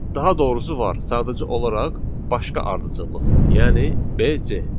Daha doğrusu var, sadəcə olaraq başqa ardıcıllıqla, yəni BC.